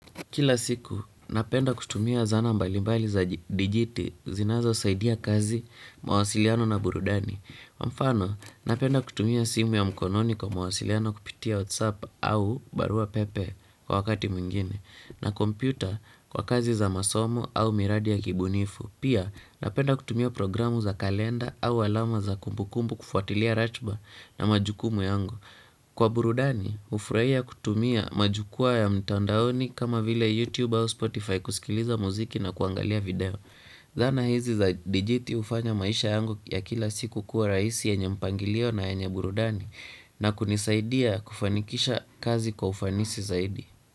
Kila siku, napenda kutumia zana mbalimbali za dijiti zinazo saidia kazi, mawasiliano na burudani. Mfano, napenda kutumia simu ya mkononi kwa mawasiliano kupitia WhatsApp au barua pepe kwa wakati mwingine. Na kompyuta kwa kazi za masomo au miradi ya kibunifu. Pia, napenda kutumia programu za kalenda au alama za kumbukumbu kufuatilia ratiba na majukumu yangu. Kwa burudani, ufuraia kutumia majukuwa ya mtandaoni kama vile YouTube au Spotify kusikiliza muziki na kuangalia video. Zana hizi za dijiti hufanya maisha yangu ya kila siku kuwa raisi yenye mpangilio na yenye burudani na kunisaidia kufanikisha kazi kwa ufanisi zaidi.